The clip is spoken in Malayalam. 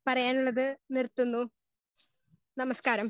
സ്പീക്കർ 1 പറയാനുള്ളത് നിർത്തുന്നു. നമസ്ക്കാരം.